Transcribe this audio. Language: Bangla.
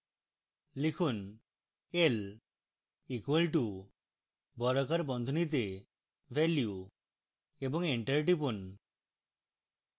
লিখুন l equal to বর্গাকার বন্ধনীতে ভ্যালু এবং enter টিপুন